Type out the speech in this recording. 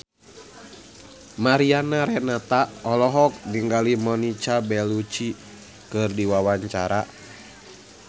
Mariana Renata olohok ningali Monica Belluci keur diwawancara